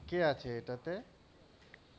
কে আছে এটাতে?